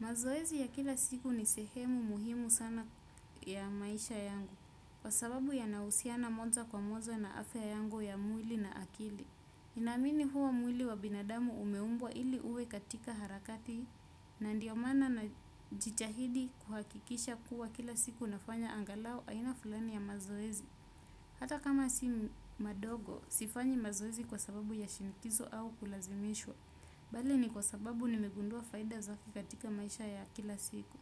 Mazoezi ya kila siku ni sehemu muhimu sana ya maisha yangu kwa sababu yanahusiana moja kwa moja na afya yangu ya mwili na akili. Nina amini kuwa mwili wa binadamu umeumbwa ili uwe katika harakati na ndiyo maana na jitahidi kuhakikisha kuwa kila siku nafanya angalau aina fulani ya mazoezi. Hata kama si madogo, sifanyi mazoezi kwa sababu ya shinikizo au kulazimishwa. Bali ni kwa sababu nimegundua faida zake katika maisha ya kila siku.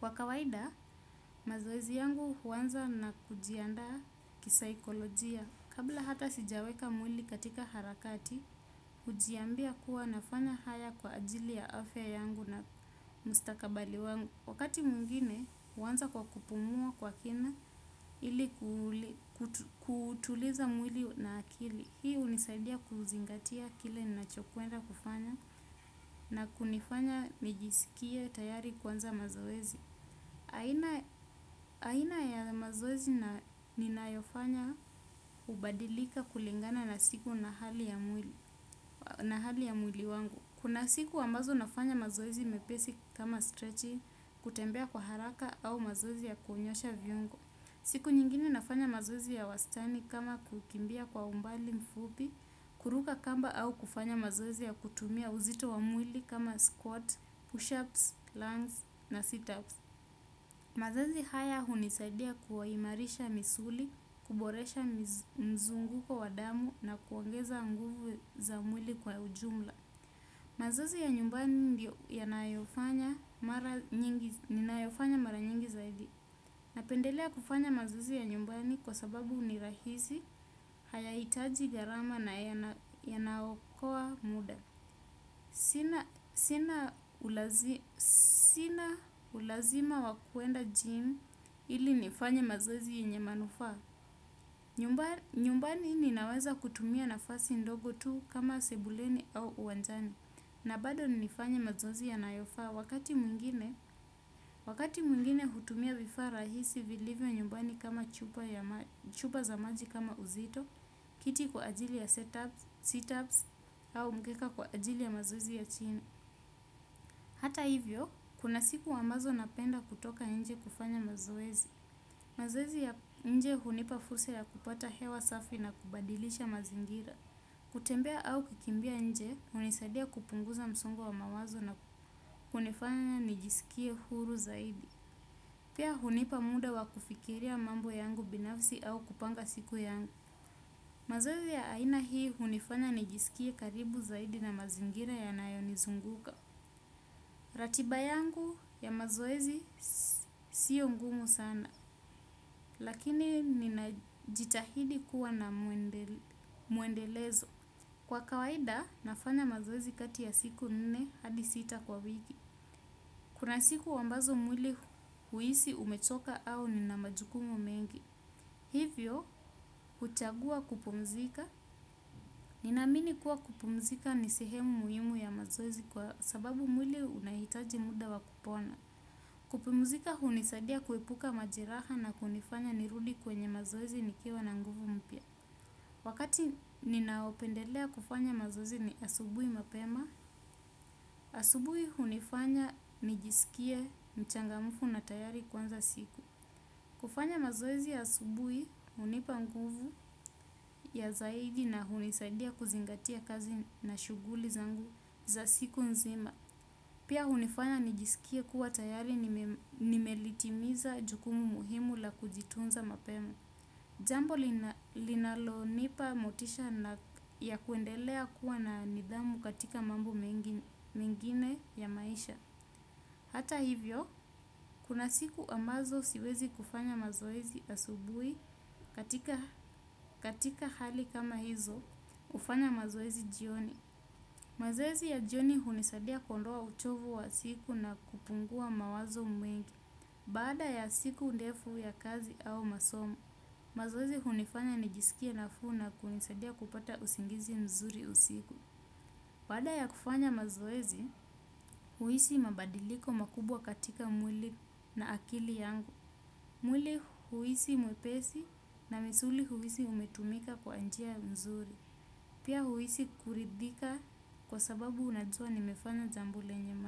Kwa kawaida, mazoezi yangu huanza na kujiandaa kisaikolojia. Kabla hata sijaweka mwili katika harakati, hujiambia kuwa nafanya haya kwa ajili ya afya yangu na mustakabali wangu. Wakati mwingine, huanza kwa kupumua kwa kina ili kutuliza mwili na akili. Hii hunisaidia kuzingatia kile ninachokwenda kufanya na kunifanya nijisikie tayari kuanza mazoezi. Aina ya mazoezi ninayofanya, hubadilika kulingana na siku na hali ya mwili wangu. Kuna siku ambazo nafanya mazoezi mepesi kama strechi kutembea kwa haraka au mazoezi ya kunyosha viungo. Siku nyingine nafanya mazoezi ya wastani kama kukimbia kwa umbali mfupi, kuruka kamba au kufanya mazoezi ya kutumia uzito wa mwili kama squat, push-ups, lungs na sit-ups. Mazoezi haya hunisadia kuimarisha misuli, kuboresha mzunguko wa damu na kuongeza nguvu za mwili kwa ujumla. Mazoezi ya nyumbani ndiyo ninayofanya mara nyingi zaidi. Napendelea kufanya mazoezi ya nyumbani kwa sababu ni rahisi hayahitaji gharama na yanaokoa muda. Sina ulazima wa kuenda jim ili nifanye mazoezi yenye manufaa. Nyumbani ninaweza kutumia nafasi ndogo tu kama sebuleni au uwanjani. Na bado nifanye mazoezi yanayofaa wakati mwingine hutumia vifaa rahisi vilivyo nyumbani kama chupa za maji kama uzito, kiti kwa ajili ya seatups au mkeka kwa ajili ya mazoezi ya chini. Hata hivyo, kuna siku ambazo napenda kutoka nje kufanya mazoezi. Mazoezi ya nje hunipa fursa ya kupata hewa safi na kubadilisha mazingira. Kutembea au kikimbia nje hunisadia kupunguza msongo wa mawazo na kunifanya nijisikie huru zaidi. Pia hunipa muda wa kufikiria mambo yangu binafisi au kupanga siku yangu. Mazoezi ya aina hii hunifanya nijisikie karibu zaidi na mazingira yanayo nizunguka. Ratiba yangu ya mazoezi siyo ngumu sana. Lakini ninajitahidi kuwa na mwendelezo. Kwa kawaida, nafanya mazoezi kati ya siku nne hadi sita kwa wiki. Kuna siku ambazo mwili huisi umechoka au nina majukumu mengi. Hivyo, kuchagua kupumzika. Ninaamini kuwa kupumzika ni sehemu muhimu ya mazoezi kwa sababu mwili unahitaji muda wa kupona. Kupumzika hunisadia kuepuka majeraha na kunifanya nirudi kwenye mazoezi nikiwa na nguvu mpya. Wakati ninaopendelea kufanya mazoezi ni asubuhi mapema, asubuhi hunifanya nijiskie mchangamfu na tayari kuanza siku. Kufanya mazoezi asubuhi hunipa nguvu ya zaidi na hunisadia kuzingatia kazi na shughuli zangu za siku nzima. Pia hunifanya nijiskie kuwa tayari nimelitimiza jukumu muhimu la kujitunza mapema kuendelea kuwa na nidhamu katika mambo mengine ya maisha. Hata hivyo, kuna siku ambazo siwezi kufanya mazoezi asubuhi katika hali kama hizo hufanya mazoezi jioni. Mazoezi ya jioni hunisaidia kuondoa uchovu wa siku na kupungua mawazo mengi. Baada ya siku ndefu ya kazi au masomo mazoezi hunifanya nijiskie nafuu na kunisaidia kupata usingizi nzuri usiku. Baada ya kufanya mazoezi, huhisi mabadiliko makubwa katika mwili na akili yangu. Mwili huhisi mwepesi na misuli huhisi umetumika kwa njia mzuri. Pia huhisi kuridhika kwa sababu unajua nimefanya jambo lenye.